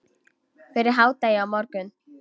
Fyrir hádegi á morgun.